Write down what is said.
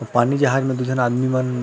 पानी जहाज में दु झन आदमी मन